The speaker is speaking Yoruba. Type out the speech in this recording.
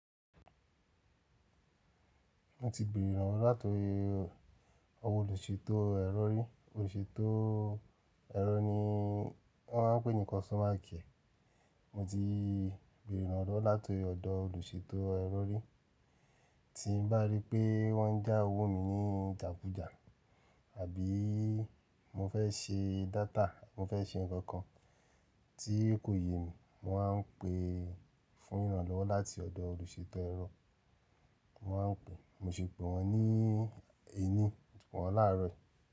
Mo ti bere ìrànlọ́wọ́ látoori olùṣètò ẹ́rọ rí. Olùṣètò ẹ́rọ ni wọ́n ma ń pé nì konstoma kíẹ̀. Mo ti bẹ̀rẹ̀ ìrànlọ́wọ́ láti ọ̀dọ̀ olùṣètò ẹ́rọ rí. Tí n bá rí pé wọ́n ń jà owó mi ní ìjàkujà, àbí mo fẹ́ ṣe data, mo fẹ́ ṣe nǹkan kan tí kò yẹ mí, mo ma ń pè fún ìrànlọ́wọ́ láti ọ̀dọ̀ olùṣètò ẹ́rọ. Mo ma ń pè, mo ti pè wọ́n ní ení, pè wọ́n láàárọ̀ yìí.